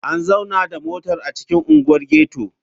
An zauna da motar a cikin unguwar ghetto?